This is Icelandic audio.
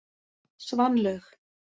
Svanlaug